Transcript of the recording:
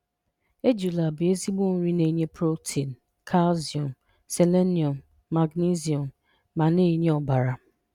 Ejula bụ ezigbo nri na-enye protein, calcium, selenium, magnesium ma na-enye ọbara.